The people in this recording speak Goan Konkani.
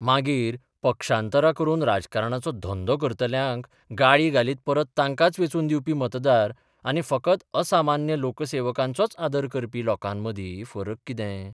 मागीर पक्षांतरां करून राजकारणाचो धंदो करतल्यांक गाळी घालीत परत तांकांच वेंचून दिवपी मतदार आनी फकत असामान्य लोकसेवकांचोच आदर करपी लोकांमदीं फरक कितें?